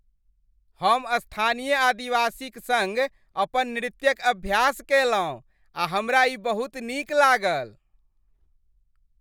हम स्थानीय आदिवासीक सङ्ग अपन नृत्यक अभ्यास कयलहुँ आ हमरा ई बहुत नीक लागल।